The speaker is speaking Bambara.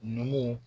Numuw